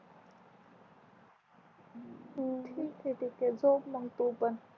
ठीके ठिके झोप मग तू पण